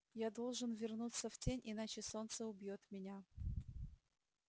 я должен вернуться в тень иначе солнце убьёт меня